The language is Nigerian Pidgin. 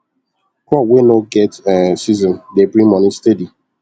crop wey nor get um season dey bring moni steady